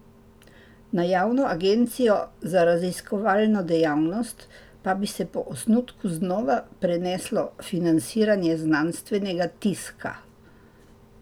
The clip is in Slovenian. Na Javno agencijo za raziskovalno dejavnost pa bi se po osnutku znova preneslo financiranje znanstvenega tiska.